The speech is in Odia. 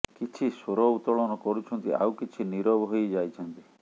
କିଛି ସ୍ୱର ଉତ୍ତୋଳନ କରୁଛନ୍ତି ଆଉ କିଛି ନିରବ ହୋଇ ଯାଇଛନ୍ତି